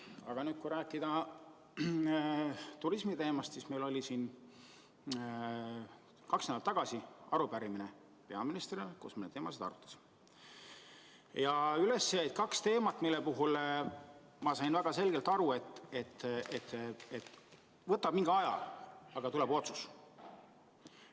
Aga kui rääkida turismisektorist, mille kohta oli kaks nädalat tagasi arupärimine peaministrile, siis üles jäid kaks teemat, mille puhul ma sain väga selgelt aru, et võtab mingi aja, aga tuleb otsus.